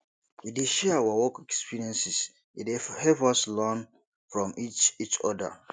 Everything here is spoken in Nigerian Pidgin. we dey share our work experiences e dey help us learn from each each oda